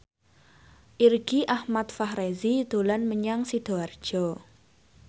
Irgi Ahmad Fahrezi dolan menyang Sidoarjo